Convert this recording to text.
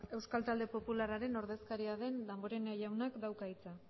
ez ba euskal talde popularraren ordezkaria den damborenea jaunak dauka hitza